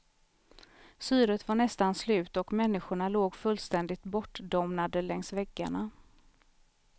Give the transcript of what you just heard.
Syret var nästan slut och människorna låg fullständigt bortdomnade längs väggarna.